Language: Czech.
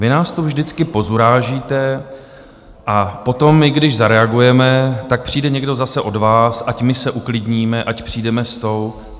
Vy nás tu vždycky pozurážíte a potom, my když zareagujeme, tak přijde někdo zase od vás, ať my se uklidníme, ať přijdeme s tou...